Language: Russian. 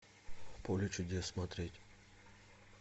поле чудес смотреть